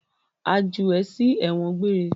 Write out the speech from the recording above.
A jù ẹ sí ẹ̀wọ̀n gbére!